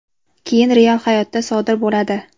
keyin real hayotda sodir bo‘ladi.